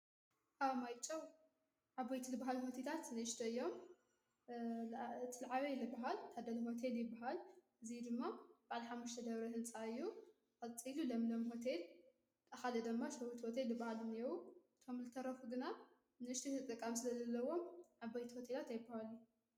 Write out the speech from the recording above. ኣብ ማይጮው ዓበይቲ በሃል ሆቴላት ንእሽተይ እዮም ዓበይቲ ልበሃል ታደሊ ወተ ልበሃል እዙይ ድማ ባልሓምሽተደብረ ሕንፃዮ ኣፀዙ ለምለም ሆተል ጠኻደ ደማ ሠዉርት ወተይ በሃል ነይዉ ቶም ልተረፉ ግና ንእሽቶይተጠቃም ስለ ዘለዎም ዓቦይቲ ወቴላት ኣይበለይ።